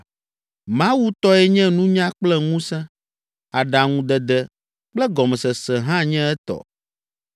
“Mawu tɔe nye nunya kple ŋusẽ; aɖaŋudede kple gɔmesese hã nye etɔ.